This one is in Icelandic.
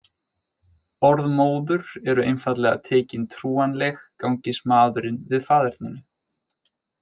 Orð móður eru einfaldlega tekin trúanleg gangist maðurinn við faðerninu.